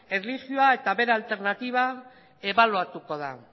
erlijioa eta bere alternatiba ebaluatuko da